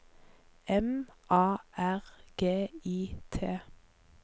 M A R G I T